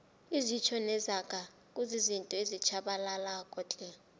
izitjho nezaga kuzizinto ezitjhabalalako tle